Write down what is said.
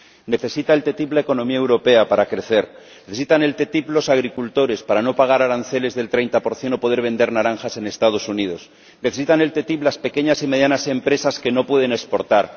Necesita la ATCI la economía europea, para crecer. Necesitan la ATCI los agricultores, para no pagar aranceles del treinta por ciento o poder vender naranjas en los Estados Unidos. Necesitan la ATCI las pequeñas y medianas empresas, que no pueden exportar.